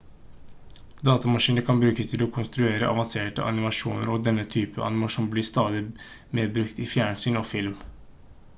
datamaskiner kan brukes til å konstruere avanserte animasjoner og denne typen animasjon blir stadig mer brukt i fjernsyn og film